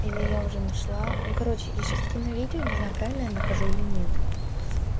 или я уже нашла ну короче ещё скину видео не знаю правильно я нахожу или нет